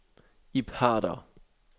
Ib Harder